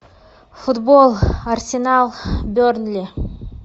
футбол арсенал бернли